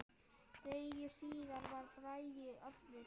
Degi síðar var Bragi allur.